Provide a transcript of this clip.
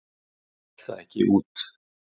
Hún hélt það ekki út!